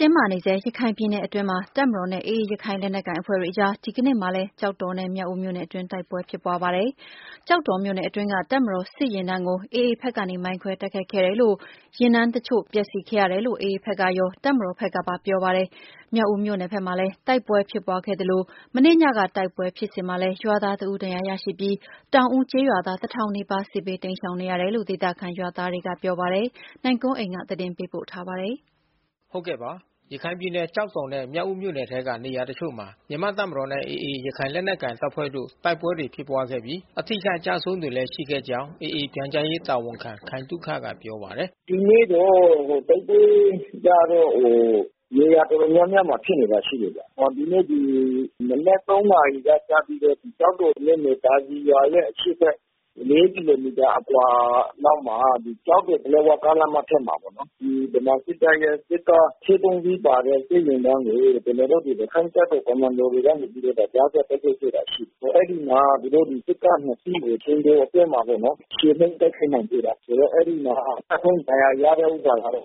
တင်းမာနေတဲ့ ရခိုင်ပြည်နယ်မှာ တပ်မတော်နဲ့ AA ရခိုင်လက်နက်ကိုင်အဖွဲ့တို့ကြား ဒီကနေ့မှာလည်း တိုက်ပွဲတွေ ဆက်လက် ဖြစ်ပွားနေပြီး အရပ်သားတဦး အပါအဝင် ထိခိုက်မှုတွေလည်း ရှိခဲ့ပါတယ်။ ကျောက်တော်နဲ့ မြောက်ဦးမြို့နယ်တွေက နေရာတချို့မှာ ဖြစ်ပွားနေတဲ့ တိုက်ပွဲတွေကြောင့် ဒေသခံတွေလည်း ထွက်ပြေး တိမ်းရှောင်နေကြရတာပါ။ အပြည့်အစုံကိုတော့ ဗွီအိုအေ မြန်မာပိုင်း သတင်းထောက် နိုင်ကွန်းအိန်က သတင်းပေးပို့ ထားပါတယ်။ ရခိုင်ပြည်နယ် ကျောက်တော်နဲ့ မြောက်ဦးမြို့နယ်ထဲက နေရာတချို့မှာ မြန်မာ့တပ်မတော်နဲ့ AA ရခိုင်လက်နက်ကိုင် တပ်ဖွဲ့တို့ တိုက်ပွဲတွေ ဖြစ်ပွားခဲ့ပြီး၊ အထိအခိုက် အကျအဆုံးတွေလည်း ရှိခဲ့ကြောင်း AA အဖွဲ့ ပြန်ကြားရေးတာဝန်ခံ ခိုင်သုခက ပြောပါတယ်။ “ဒီနေ့တော့တိုက်ပွဲကတော့ နေရာတော်တော်များများမှာ ဖြစ်နေတာရှိတယ်။ ဒီနေ့ မနက် နာရီကစပြီးတော့ ကျောက်တော်မြို့နယ် သာစည်ရွာရဲ့ အရှေ့ဘက် ကီလိုမီတာအကွာလောက်မှာ ကျောက်တော် ပလက်ဝကားလမ်းမ အထက်မှာပေါ့နော်။ ဒီဗမာစစ်တပ်ရဲ့စစ်ကား အစီး စီးပါတဲ့ စစ်ယာဉ်တန်းကို ကျနော်တို့ ရခိုင့်တပ်တော်ကွန်မန်ဒိုတွေကနေ ကြားဖြတ်တိုက်ခိုက်ခဲ့တာ ရှိတယ်။ အဲဒီမှာ သူတို့စစ်ကား စီးကို အချိန်တိုအတွင်းမှာ ချေမှုန်း တိုက်ခိုက်နိုင်ခဲ့တယ်။ အဲဒီမှာ ကျဆုံးဒဏ်ရာရတဲ့ ဥစ္စာကတော့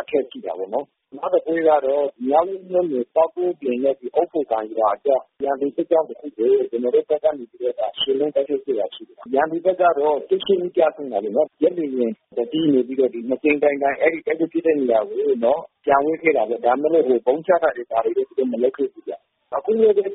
အထက်ရှိတာပေါ့နော်။ နောက်တပွဲကတော့ မြောက်ဦးမြို့နယ် ပေါက်ကွင်းပြင်နဲ့ အုတ်ဖိုကန်ရွာအကြား ရန်သူစစ်ကြောင်းတခုကို ကျနော်တို့ဘက်ကနေပြီးတော့ ချေမှုန်းတိုက်ခိုက်ခဲ့တာ ရှိတယ်။ ရန်သူဘက်ကတော့ ဦး ကျဆုံးတာပေါ့နော်။ ဂျက်လေယာဉ် စီးနေပြီးတော့ ၂ကြိမ်တိုင်တိုင် အဲဒီတိုက်ပွဲဖြစ်ပွားတဲ့ နေရာကို ပျံဝဲခဲ့တာပေါ့။ ဒါပေမဲ့လို့ ဗုံးချခဲ့တာတော့ သူတို့မလုပ်ခဲ့ဘူးဗျ။ အခုလည်းပဲ ကျောက်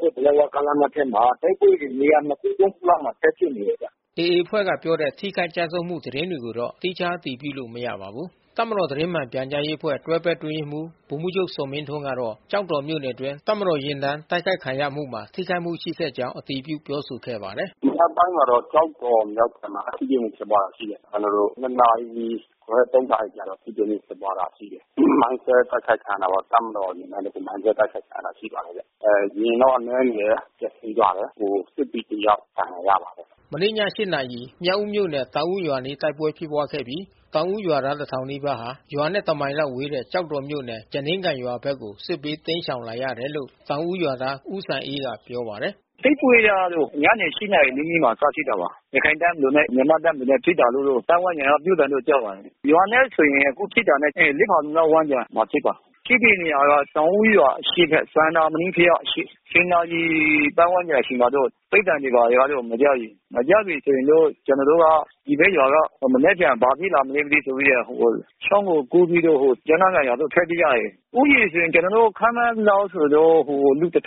တော် ပလက်ဝကားလမ်းထက်မှာ တိုက်ပွဲတွေနေရာ ခု၊ ခုလောက် ဆက်ဖြစ်နေတယ်ဗျ။” AA အဖွဲ့က ပြောတဲ့ ထိခိုက်ကျဆုံးမှု သတင်းတွေကိုတော့ သီးခြား အတည်ပြုလို့ မရပါဘူး။ တပ်မတော် သတင်းမှန်ပြန်ကြားရေးအဖွဲ့ တွဲဖက်အတွင်းရေးမှူး ဗိုလ်မှူးချုပ်ဇော်မင်းထွန်းကတာ့ ကျောက်တော်မြို့နယ်အတွင်း တပ်မတော် ယာဉ်တန်းတိုက်ခိုက်ခံရမှုမှာ ထိခိုက်မှုရှိခဲ့ကြောင်း အတည်ပြုပြောဆိုခဲ့ပါတယ်။ “မနက်ပိုင်းမှာတော့ ကျောက်တော်မြောက်ပိုင်းမှာ ထိတွေ့မှုဖြစ်ပွားတာ ရှိတယ်။ ကျနော်တို့ နာရီခွဲ နာရီကျတော့ ထိတွေ့မှု ဖြစ်ပွားတာ ရှိတယ်။ မိုင်းခွဲ တိုက်ခိုက်ခံရတာပေါ့။ တပ်မတော် ယာဉ်တန်းမိုင်းခွဲ တိုက်ခိုက်ခံရတာ ရှိပါတယ်။ ယာဉ်တော့အနည်းငယ် ပျက်စီးသွားတယ်။ စစ်သည်တယောက် ဒဏ်ရာရပါတယ်။” မနေ့ည နာရီ မြောက်ဦးမြို့နယ် တောင်ဦးရွာအနီး တိုက်ပွဲဖြစ်ပွားခဲ့ပြီး တောင်ဦးရွာသားတထောင်နီးပါးဟာ ရွာနဲ့ တမိုင်လောက်ဝေးတဲ့ ကျောက်တော်မြို့နယ် ကျားနင်းကန်ရွာဘက်ကို စစ်ဘေးတိမ်းရှောင်လာရတယ်လို့ တောင်ဦး ရွာသား ဦးစံအေးကပြောပါတယ်။ “တိုက်ပွဲကတော့ ညနေ နာရီနီးနီးမှ စဖြစ်တာပါ။ ရခိုင်တပ်မတော်နဲ့မြန်မာ့တပ်မတော်နဲ့ဖြစ်တာလို့တော့ ပါတ်ဝန်းကျင် ကပြောသံတော့ကြားပါတယ်။ ရွာနဲ့ဆိုရင် အခုဖြစ်တာနဲ့ ဖါလုံလောက် ဝန်းကျင်မှာ ဖြစ်ပါတယ်။ ဖြစ်တဲ့နေရာက တောင်ဦးရွာရဲ့အရှေ့ဘက် စန္နာမဏိဘုရားအရှေ့။ နာရီပါတ်ဝန်းကျင် အချိန်မှာတော့ ပစ်သံတွေတော့ မကြားပြီ။ မကြားပြီ ဆို ရင်တော့ကျနော်တို့က ဒီဘက်ရွာက မနက်ဖြန် ဘာဖြစ်လာမလဲမသိဆိုပြီးတော့ ချောင်းကိုကူးပြီးတော့ ကျားနင်းကန်ရွာကို ထွက်ပြေးကြတယ်။ ဦးရေဆိုရင်ကျနော်တို့ ခန့်မှန်းသလောက်ဆိုရင်တော့ လူ ကျော်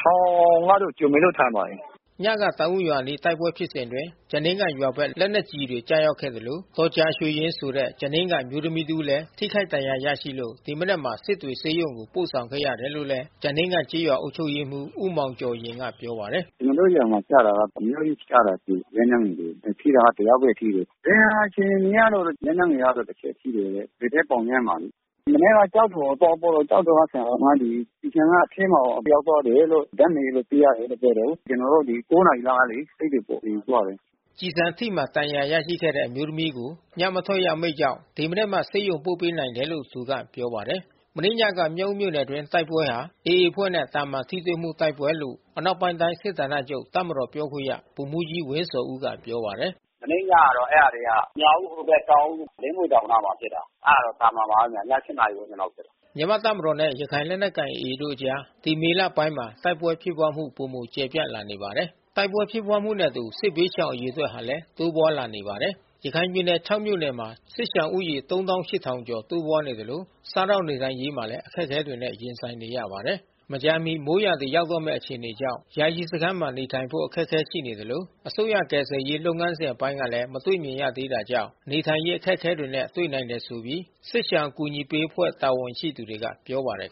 လောက်တော့ ထင်ပါတယ်။” ညကတောင် ဦးရွာအနားက တိုက်ပွဲဖြစ်စဉ်အတွင်း ကျားနင်းကန်ရွာဘက် လက်နက်ကျည်တွေ ကျရောက်ခဲ့သလို ဒေါ်ကြာရွှေယဉ်ဆိုတဲ့ ကျားနင်းကန် အမျိုးသမီးတဦးလည်း ထိခိုက်ဒဏ်ရာရရှိလို့ ဒီမနက်မှာ စစ်တွေဆေးရုံကိုပို့ ဆောင်ခဲ့ ရတယ်လို့ ကျားနင်းကန်ကျေးရွာအုပ်ချုပ်ရေးမှူး ဦးမောင်ကျော်ယဉ်က ပြောပါတယ်။ “ကျနော်တို့ ရွာမှကျတာက အများကြီးကျတယ်... လက်နက်ငယ်တွေ။ ထိတာကတယောက်ပဲ ထိတယ်။ ဒဏ်ရာ အခြေအနေကတော့ လက်နက်ငယ် တချက် ထိတယ်တဲ့။ ဘယ်ဘက်ပေါင်ထဲမှာလေ။ မနက်က ကျောက်တော်ကို သွားပို့တော့ ကျောက်တော်က ဆရာသမားတွေ ကျည်ဆံက အထဲကို ရောက်သွားလို့ ဓါတ်မှန်ရိုက်လို့ သိရတယ်လို့ ပြောတယ်။ ကျနော် ဒီ နာရီလောက်ကလေ စစ်တွေပို့ဖို့ ယူသွားတယ်။” ကျည်ဆံထိမှန်ဒဏ်ရာ ရရှိခဲ့တဲ့ အမျိုးသမီးကို ညမထွက်ရ အမိန့်ကြောင့် ဒီမနက်မှ ဆေးရုံပို့ပေးနိုင်တယ်လို့ သူက ပြောပါတယ်။ မနေ့ညက မြောက်ဦးမြို့နယ်အတွင်း တိုက်ပွဲဟာ AA အဖွဲ့နဲ့ သာမန်ထိတွေ့မှု တိုက်ပွဲလို့ အနောက်ပိုင်း တိုင်းစစ်ဌာနချုပ် တပ်မတော်ပြောခွင့်ရ ဗိုလ်မှူးကြီး ဝင်းဇော်ဦးက ပြောပါတယ်။ “မနေ့ညကတော့ အဲ့တာတွေက မြောက်ဦးဟိုဘက် တောင်ဦး။ လင်းမြွေတောင်နားမှာ ဖြစ်တာ။ အဲ့တာကတော့ သာမန်ပါပဲဗျ။ ည နာရီဝန်းကျင်လောက် ဖြစ်တာ။” မြန်မာ့တပ်မတော်နဲ့ ရခိုင့်လက်နက်ကိုင် AA တို့အကြား ဒီမေလပိုင်းမှာ တိုက်ပွဲဖြစ်ပွားမှု ပိုမို ကျယ်ပြန့်လာနေတာပါ။ တိုက်ပွဲဖြစ်ပွားမှုနဲ့အတူ စစ်ဘေးရှောင်အရေအတွက်ဟာလည်း တိုးပွားလာနေပါတယ်။ ရခိုင်ပြည်နယ် မြို့နယ်မှာ စစ်ရှောင်ဦးရေ ကျော် တိုးပွားနေသလို စားသောက်နေထိုင်ရေးမှာလည်း အခက်ခဲတွေနဲ့ ရင်ဆိုင်နေရပါတယ်။ မကြာမီ မိုးရာသီရောက်တော့မယ့် အခြေအနေကြောင့် ယာယီစခန်းမှာနေထိုင်ဖို့ အခက်ခဲရှိနေသလို အစိုးရကယ်ဆယ်ရေး လုပ်ငန်းစဉ်အပိုင်းကလည်း မတွေ့မြင်ရသေးတာကြောင့် နေထိုင်ရေး အခက်ခဲတွေနဲ့ တွေ့နိုင်တယ်ဆိုပြီး စစ်ရှောင်အကူညီပေးအဖွဲ့ တာဝန်ရှိသူတွေက ပြောပါတယ်